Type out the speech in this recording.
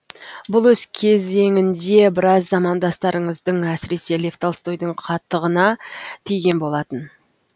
бұл өз кезеңінде біраз замандастарыңыздың әсіресе лев толстойдың қатығына тиген болатын